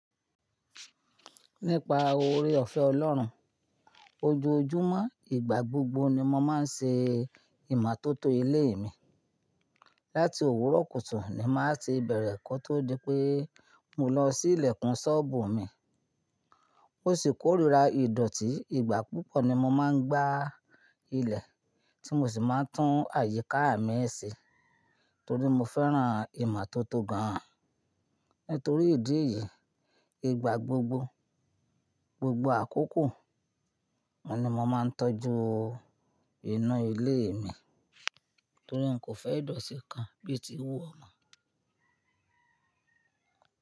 Nípa oore ọ̀fẹ́ Ọlọ́run, ojoojúmọ́, ìgbà gbogbo ni mo máa ń ṣe ìmọ́tótó ilé mi. Láti òwúrọ̀ kùtù ní máa ti bẹ̀rẹ̀ kó tó di pé mo lọ sí ilẹ̀kùn ṣọ́obù mi. Mo sì kórira ìdọ̀tí, ìgbà púpọ̀ ni mo máa ń gbá ilẹ̀ tí mo sì máa ń tún àyíká mi ṣe torí mo fẹ́ran ìmọ́tótó gan-an. Nítorí ìdí èyí, ìgbà gbogbo, gbogbo àkókò n ni mo máa ń tọ́jú inu ilé mi torí n kò fẹ́ ìdọ̀tí kan bíi ti wú o mọ̀.